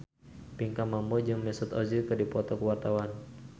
Pinkan Mambo jeung Mesut Ozil keur dipoto ku wartawan